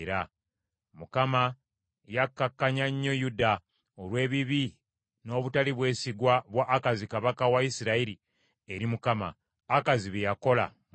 Mukama yakkakkanya nnyo Yuda olw’ebibi n’obutali bwesigwa bwa Akazi kabaka wa Isirayiri eri Mukama , Akazi bye yakola mu Yuda.